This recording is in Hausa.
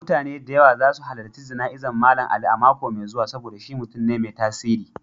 Mutane da yawa za su halarci jana'izar Mallam Ali a mako mai zuwa saboda shi mutum ne mai tasiri.